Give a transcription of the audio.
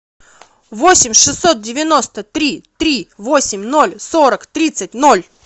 восемь шестьсот девяносто три три восемь ноль сорок тридцать ноль